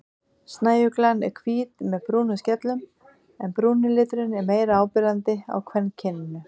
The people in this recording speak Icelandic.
Snæuglan er hvít með brúnum skellum en brúni liturinn er meira áberandi á kvenkyninu.